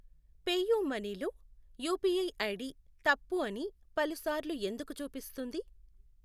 PayUmoney లో UPI ID తప్పు అని పలుసార్లు ఎందుకు చూపిస్తుంది?